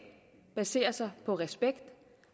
baserer sig på respekt